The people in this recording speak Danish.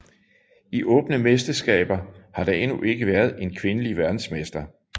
I åbne mesterskaber har der endnu ikke været en kvindelig verdensmester